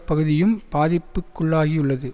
பகுதியும் பாதிப்புக்குள்ளாகியுள்ளது